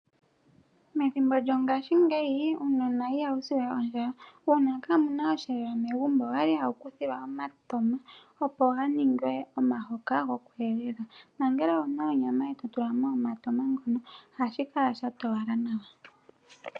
Methimbo lyongashingeyi uunona ihawu si we ondjala. Uuna kaamuna osheelelwa megumbo, owali hawu kuthilwa omatama opo ga ningwe omuhoka gwoku elela. Nongele owuna onyama e totulamo omatama ngono, ohashi kala sha towala nawa.